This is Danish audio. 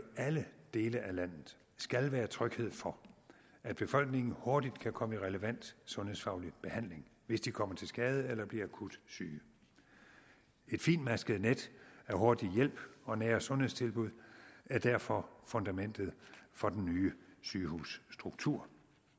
alle dele af landet skal være tryghed for at befolkningen hurtigt kan komme i relevant sundhedsfaglig behandling hvis de kommer til skade eller bliver akut syge et fintmasket net af hurtig hjælp og nære sundhedstilbud er derfor fundamentet for den nye sygehusstruktur